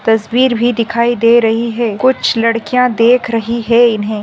तस्वीर भी दिखाई दे रही है। कुछ लड़कियां देख रही है इन्हे।